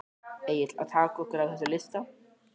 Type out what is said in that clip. Egill: Að taka okkur af þessum lista?